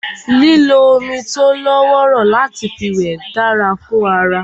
Lílo omi tó lọ́wọ́rọ́ láti fi wẹ̀ dára fún ara